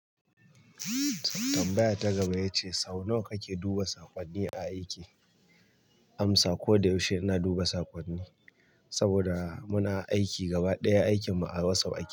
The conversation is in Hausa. Tambaya ta gaba yace sau nawa kake duba saƙonni a aiki? Amsa: ko da yaushe ina duba saƙonni, saboda muna aiki gaba ɗaya aikinmu a WhatsApp ake.